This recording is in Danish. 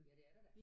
Ja det er der da